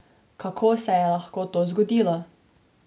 Kako se je lahko to zgodilo?